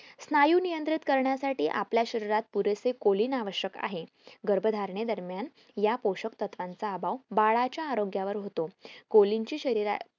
स्नायू नियंत्रित करण्यासाठी आपल्या शरीरात पुरेसे colon आवश्यक आहे गर्भधारणे दरम्यान या पोषक तत्वाचा अभाव बाळाच्या बाळाच्या आरोग्यावर होतो colon ची शरीरात